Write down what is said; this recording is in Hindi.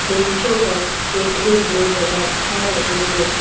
बेंचों पर बैठे हुए नजर आ रहे हैं।